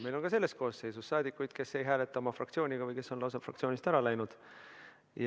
Meil on ka selles koosseisus saadikuid, kes ei hääleta oma fraktsiooniga või kes on lausa fraktsioonist ära läinud.